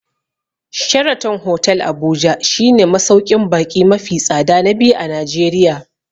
Sheraton hotel Abuja shi ne masauƙin baƙi mafi tsada na biyu a Najeriya